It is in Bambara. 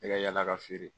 Ne ka yala ka feere